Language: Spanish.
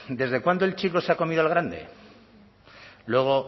desde cuándo el chico se ha comido al grande luego